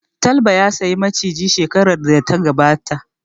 Talba ya saya Maciji shekarar da ta gabata